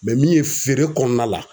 min ye feere kɔnɔna la